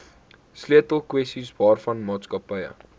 sleutelkwessies waaraan maatskappye